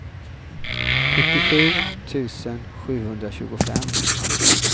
sjuttiosju tusen sjuhundratjugofem